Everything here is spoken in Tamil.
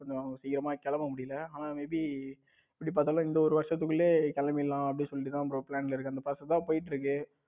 சீக்கிரமா கிளம்ப முடியல ஆனா may be எப்படி பார்த்தாலும் இந்த ஒரு வருஷத்துக்குள்ள கிளம்பிடலாம் அப்படின்னு சொல்லிட்டு தான் bro plan பண்ணிருக்கேன். அந்த process தான் போய்கிட்டு இருக்கு.